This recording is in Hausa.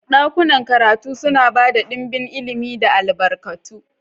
Dakunan karatu suna ba da ɗimbin ilimi da albarkatu.